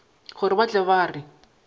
gore ba tle ba re